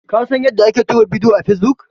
Ka san yadda ake tura bidiyo a fesbuk?